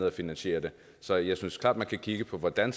at finansiere det så jeg synes klart man kan kigge på hvordan